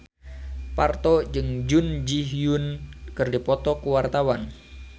Parto jeung Jun Ji Hyun keur dipoto ku wartawan